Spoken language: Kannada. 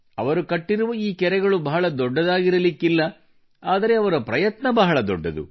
ಅವರು ಕಟ್ಟಿರುವ ಈ ಕೆರೆಗಳು ಬಹಳ ದೊಡ್ಡದಾಗಿರಲಿಕ್ಕಿಲ್ಲ ಆದರೆ ಅವರ ಪ್ರಯತ್ನ ಬಹಳ ದೊಡ್ಡದು